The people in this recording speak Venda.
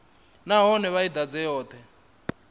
nahone vha i ḓadze yoṱhe